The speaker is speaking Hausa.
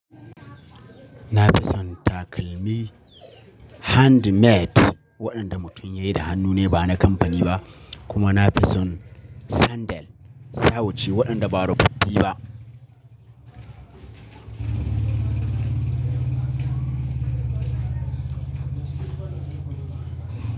Na fi son takalmi handmade waɗanda mutum ya yi da hannu ne ba na kamfani ba, kuma na fi son sandal, sawu ce waɗanda ba roɓoɓɓi ba.